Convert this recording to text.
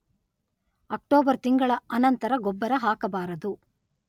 October ತಿಂಗಳ ಅನಂತರ ಗೊಬ್ಬರ ಹಾಕಬಾರದು.